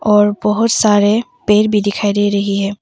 और बहोत सारे पेड़ भी दिखाई दे रही हैं।